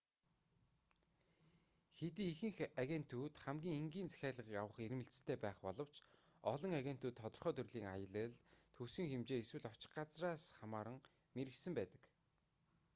хэдий ихэнх агентууд хамгийн энгийн захиалгыг авах эрмэлзэлтэй байх боловч олон агентууд тодорхой төрлийн аялал төсвийн хэмжээ эсвэл очих газраас хамааран мэргэшсэн байдаг